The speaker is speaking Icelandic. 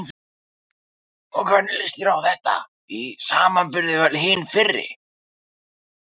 Og hvernig líst þér á þetta í samanburði við öll hin fyrri?